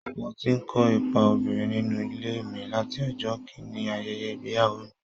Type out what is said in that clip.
Mo ti ń kó ipa obìnrin nínú ilé mi láti ọjọ́ kìn-ín-ní ayẹyẹ ìgbéyàwó mi